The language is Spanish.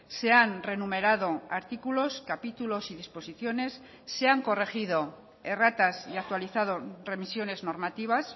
se han reenumerado artículos capítulos y disposiciones se han corregido erratas y actualizado remisiones normativas